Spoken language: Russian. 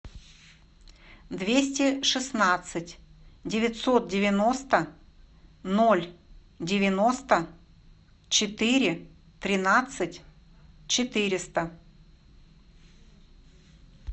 двести шестнадцать девятьсот девяносто ноль девяносто четыре тринадцать четыреста